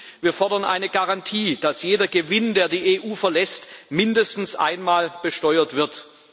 Und wir fordern eine Garantie, dass jeder Gewinn, der die EU verlässt, mindestens einmal besteuert wird.